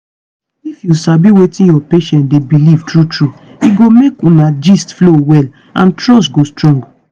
if you sabi wetin your patient dey believe true true e go make una gist flow well and trust go strong.